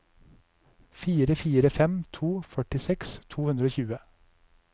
fire fire fem to førtiseks to hundre og tjue